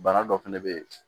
Bana dɔ fɛnɛ bɛ ye